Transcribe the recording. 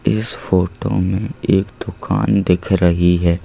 इस फोटो में एक दुकान दिख रही है।